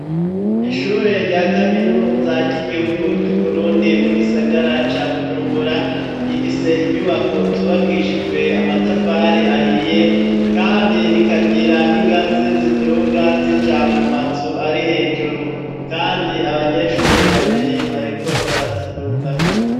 Ishure rya kaminuza ry'igihugu c'uburundi mu gisagara ca bujumbura rifise inyubako zubakishijwe amatafari ahiye kandi rikagira n'ingazi ziduga zija mu mazu ari hejuru kandi abanyeshure babiri bariko barazidugako.